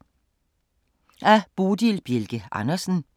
Af Bodil Bjelke Andersen